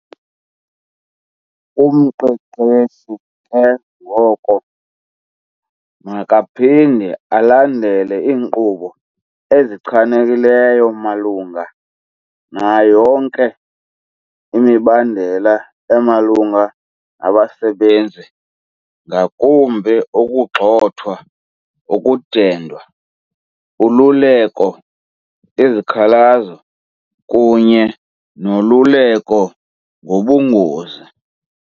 Umqeqeshi ke ngoko makaphinde alandele iinkqubo ezichanekileyo malunga nayo yonke imibandela emalunga nabasebenzi, ngakumbi ukugxothwa, ukudendwa, ululeko, izikhalazo, kunye noluleko ngobungozi.